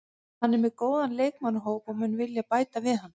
Hann er með góðan leikmannahóp og mun vilja bæta við hann.